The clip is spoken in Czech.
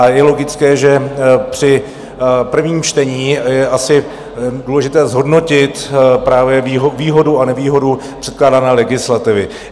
A je logické, že při prvním čtení je asi důležité zhodnotit právě výhodu a nevýhodu předkládané legislativy.